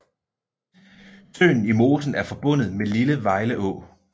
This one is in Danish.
Søen i mosen er forbundet med Lille Vejleå